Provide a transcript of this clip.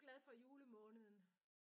Er du glad for julemåneden?